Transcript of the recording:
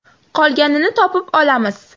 Qolganini topib olamiz.